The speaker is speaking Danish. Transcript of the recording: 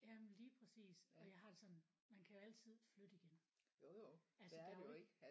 Jamen lige præcis og jeg har det sådan man kan jo altid flytte igen altså der er jo ikke